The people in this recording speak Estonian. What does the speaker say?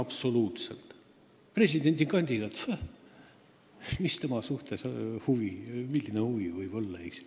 Mis huvi võiks presidendikandidaadi vastu olla?